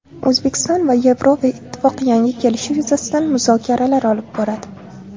O‘zbekiston va Yevroittifoq yangi kelishuv yuzasidan muzokaralar olib boradi.